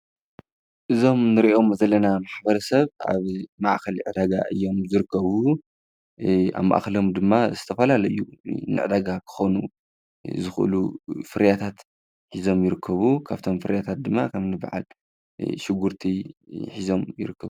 እዞም እንርእዮም ዘለና ማሕበረሰብ ኣብ ማዕኸል ዕዳጋ እዮም ዝርከቡ። ኣብ ማዕከሎም ድማ ዝተፈላለዩ ንዕዳጋ ክኾኑ ዝክእሉ ፍርያታት ሒዞም ይርከቡ ።ካፍቶም ፍርያታት ድማ ከምኒ በዓል ሽጉርቲ ሒዞም ይርከቡ።